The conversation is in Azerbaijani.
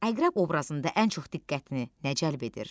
Əqrəb obrazında ən çox diqqətini nə cəlb edir?